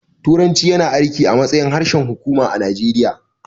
Turanci yana aiki a matsayin harshen hukuma a Najeriya